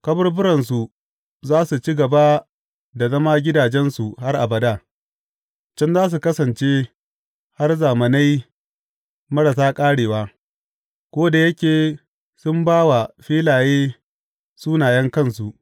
Kaburburansu za su ci gaba da zama gidajensu har abada, Can za su kasance har zamanai marasa ƙarewa, ko da yake sun ba wa filaye sunayen kansu.